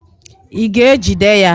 Ị ga-ejide ya?